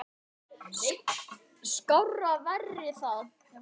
Skárra væri það.